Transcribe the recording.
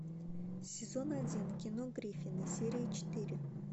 сезон один кино гриффины серия четыре